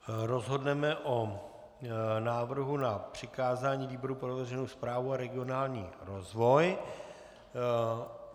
Rozhodneme o návrhu na přikázání výboru pro veřejnou správu a regionální rozvoj.